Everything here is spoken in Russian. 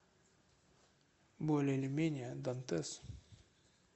более или менее дантес